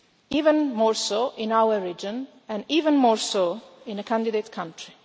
Even more so in our region and even more so in a candidate country.